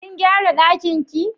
Kin gyara ɗakin ki?